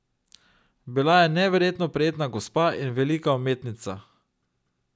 Bila je neverjetno prijetna gospa in velika umetnica.